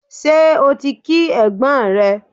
Ṣé o ti kí ẹ̀gbọ́n rẹ?